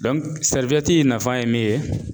in nafa ye min ye